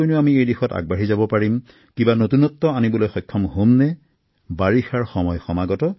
এই দিশত আমি কিধৰণে কাম কৰিব পাৰো ইয়াৰ বাবে কিধৰণৰ নতুন উদ্ভাৱন আমাক প্ৰয়োজন হব বৰ্ষা ঋতু সমাগত